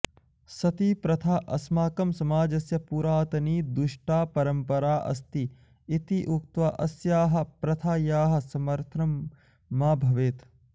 सतीप्रथा अस्माकं समाजस्य पुरातनी दुष्टा परम्परा अस्ति इति उक्त्वा अस्याः प्रथायाः समर्थनं मा भवेत्